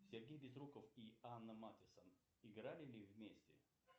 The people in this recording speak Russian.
сергей безруков и анна матисон игали ли вместе